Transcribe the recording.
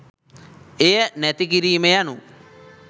එය නැති කිරීම යනු